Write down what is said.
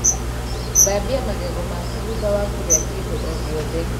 Thambia magego maku thutha wa kūrīa kīndo o gīothe.